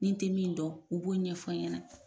N'i n tɛ min dɔn u b'o ɲɛfɔ n ɲɛna.